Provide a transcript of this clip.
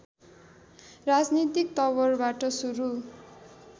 राजनीतिक तवरबाट सुरु